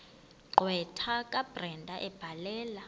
gqwetha kabrenda ebhalela